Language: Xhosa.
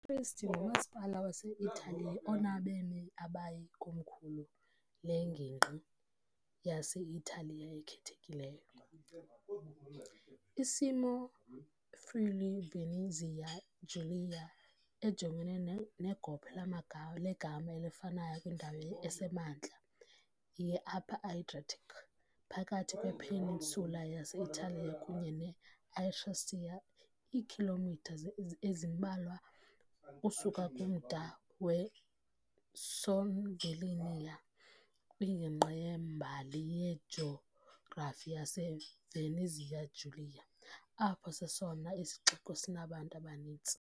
I-Trieste ngumasipala wase -Italiya onabemi abayi , ikomkhulu lengingqi yase-Italiya ekhethekileyo. isimo Friuli-Venezia Giulia, ejongene negophe legama elifanayo kwindawo esemantla ye- Upper Adriatic, phakathi kwe-peninsula yase-Italiya kunye ne- Istria, iikhilomitha ezimbalwa ukusuka kumda weSlovenia, kwingingqi yembali-yejografi yaseVenezia Giulia, apho sesona sixeko sinabantu abaninzi.